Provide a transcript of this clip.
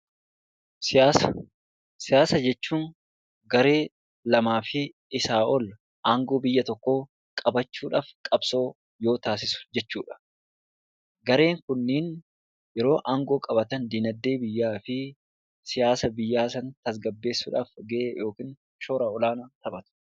Siyaasa Siyaasa jechuun garee lamaa fi isaa ol aangoo biyya tokkoo qabachuu dhaaf qabsoo yoo taasisu jechuu dha. Gareen kunneen yeroo aangoo qabatan dinagdee biyyaa fi siyaasa biyyaa sana tasgabbeessuu dhaaf gahee yookiin shora olaanaa taphatu.